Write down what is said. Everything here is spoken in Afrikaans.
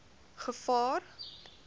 gevaar